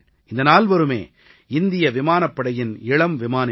இந்த நால்வருமே இந்திய விமானப்படையின் இளம் விமானிகள்